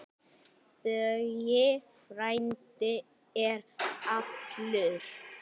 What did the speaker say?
Böggi frændi er allur.